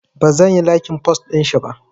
Bazan yi laikin post ɗinshi ba